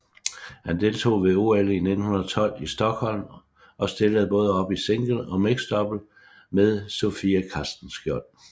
Han deltog ved OL i 1912 i Stockholm og stillede både op i single og mixed double med Sofie Castenschiold